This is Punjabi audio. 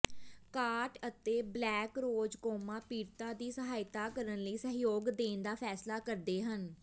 ਕਾਟ ਅਤੇ ਬਲੈਕਰੋਜ਼ ਕੋਮਾ ਪੀੜਤਾਂ ਦੀ ਸਹਾਇਤਾ ਕਰਨ ਲਈ ਸਹਿਯੋਗ ਦੇਣ ਦਾ ਫੈਸਲਾ ਕਰਦੇ ਹਨ